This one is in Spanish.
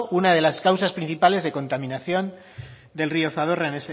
una de las causas principales de contaminación del río zadorra